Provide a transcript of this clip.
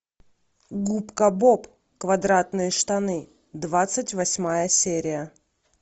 губка боб квадратные штаны двадцать восьмая серия